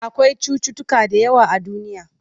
Akwai cutuutuka da yawa a duniya.